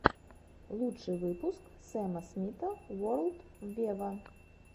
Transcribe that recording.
лучший выпуск сэма смита ворлд вево